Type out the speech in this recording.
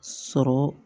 Sɔrɔ